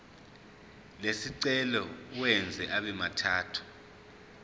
lesicelo uwenze abemathathu